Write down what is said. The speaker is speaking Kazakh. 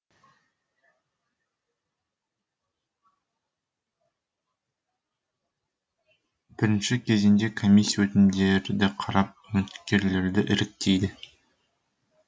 бірінші кезеңде комиссия өтінімдерді қарап үміткерлерді іріктейді